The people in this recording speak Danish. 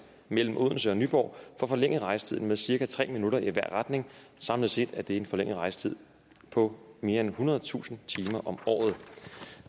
mellem odense og nyborg får forlænget rejsetiden med cirka tre minutter i hver retning samlet set er det en forlænget rejsetid på mere end ethundredetusind timer om året